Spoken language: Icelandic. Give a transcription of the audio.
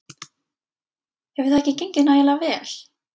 Hefur það ekki gengið nægilega vel?